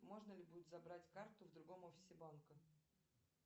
можно ли будет забрать карту в другом офисе банка